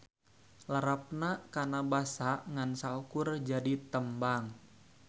Larapna kana basa ngan saukur jadi tembang.